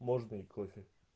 можно ли кофе